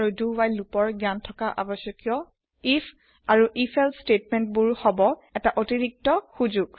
আৰু জ্ঞান থকা আৱশ্যকিয় প্ৰতিতু ফৰ ফৰিচ ৱ্হাইল আৰু do ৱ্হাইল লুপৰ আৰু আইএফ আৰু if এলছে স্তেতমেন্ত বোৰ হব এটা অতিৰিক্ত সোযোগ